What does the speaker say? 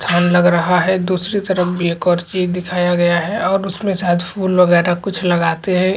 ठंड लग रहा है दूसरी तरफ भी एक और चीज़ दिखाया गया है और उसमे शायद फूल वगैर कुछ लगाते है।